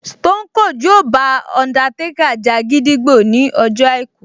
Stone Cold yóò bá Undertaker ja gídígbò ní ọjọ́ àìkú